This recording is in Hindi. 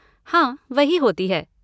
हाँ, वही होती है।